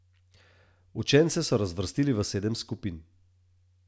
Učence so razvrstili v sedem skupin.